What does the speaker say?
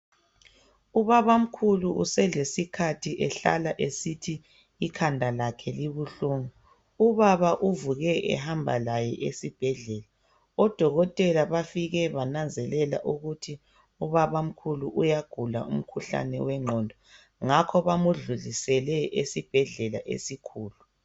Ubabamkhulu uselesikhathi ehlala esithi ikhanda lakhe libuhlungu. Ubaba uvuke ehamba laye esibhedlela. Odokotela bafike bananzelela ukuthi ubabamkhulu uyagula umkhuhlane wengqondo ngakho bamdlulisele esibhedlela esikhulu.